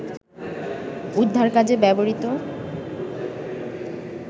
উদ্ধার কাজে ব্যবহৃত